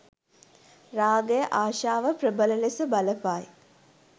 රාගය, ආශාව, ප්‍රබල ලෙස බලපායි.